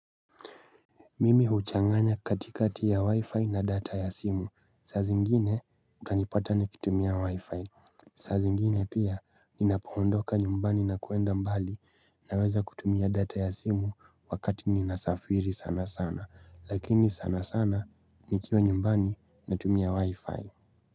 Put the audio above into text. Mimi huchanganya katikati ya wi-fi na data ya simu. Saa zingine utanipata nikitumia wi-fi. Saa zingine pia ninapoondoka nyumbani na kuenda mbali naweza kutumia data ya simu wakati ninasafiri sana sana. Lakini sana sana nikiwa nyumbani natumia wi-fi.